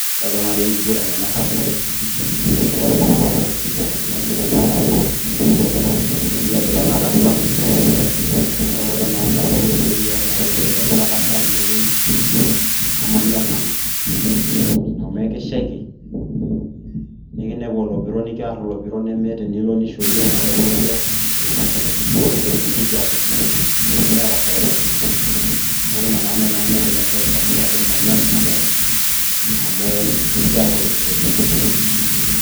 Adolta naajo enkiguran ena sapuk oleng'. Na enkiwanja si dolta geemi enkwanja enkiguran. Netii ilaiguranak atua. Kake ore naa sababu ene ore ake peeku etasha tenewei, namanyor nanu. Amu ekishaiki, nikinepu olopiro nikiar olopiro nemeeta enilo nishorie eloopiro, nikiidong' enkijape, nemeeta faida nitum. Neeku ina na nai nanu paidim aishoru sababu atejo manyor enabae, amu ekiar olopiro oleng'.